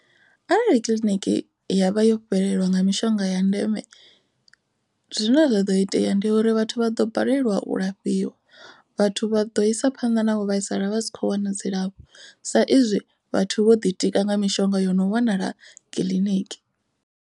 Arali kiḽiniki ya vha yo fhelelwa nga mishonga ya ndeme. Zwine zwa ḓo itea ndi uri vhathu vha ḓo balelwa u lafhiwa vhathu vha ḓo isa phanḓa na u vhaisala vha si kho wana dzilafho. Sa izwi vhathu vho ḓitika nga mishonga yo no wanala kiḽiniki.